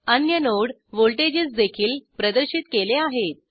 अन्य नोड व्हॉल्टेजेसदेखील प्रदर्शित केले आहेत